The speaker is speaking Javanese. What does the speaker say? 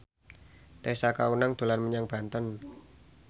Tessa Kaunang dolan menyang Banten